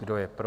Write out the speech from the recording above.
Kdo je pro?